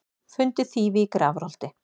Fundu þýfi í Grafarholti